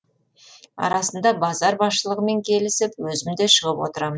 арасында базар басшылығымен келісіп өзім де шығып отырам